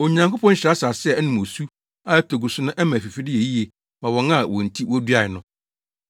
Onyankopɔn hyira asase a ɛnom osu a ɛtɔ gu so na ɛma afifide yɛ yie ma wɔn a wɔn nti woduae no.